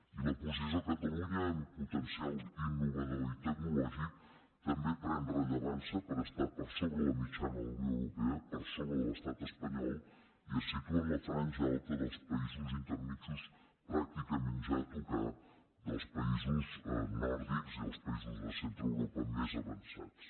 i la posició de catalunya en potencial innovador i tec·nològic també pren rellevància perquè està per sobre la mitjana de la unió europea per sobre de l’estat espa·nyol i es situa en la franja alta dels països intermedis pràcticament ja a tocar dels països nòrdics i dels països de centreeuropa més avançats